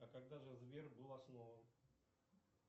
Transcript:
а когда же сбер был основан